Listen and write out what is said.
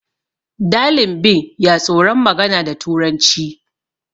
dalinbin ya tsoron magana da turanci